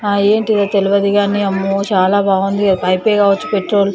ఆ ఏంటిదో తెలువదిగాని అమ్మో చాలా బాగుంది. పైప్ కావచ్చు పెట్రోల్ --